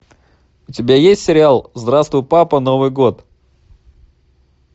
у тебя есть сериал здравствуй папа новый год